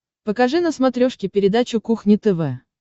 покажи на смотрешке передачу кухня тв